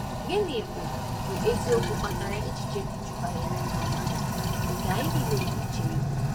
Gịnị bụ bụ eziokwu kpatara echiche dị jụụ banyere ndụ mmadụ nke anyị niile ga-eche ihu?